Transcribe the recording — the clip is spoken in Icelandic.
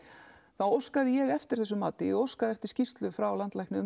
þá óskaði ég eftir þessu mati ég óskaði eftir skýrslu frá landlækni um